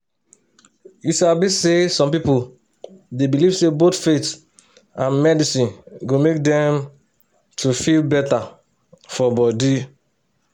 you sabi. say some pipo dey believe say both faith and medicine go make dem to feel better for body.